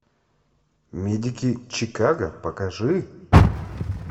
медики чикаго покажи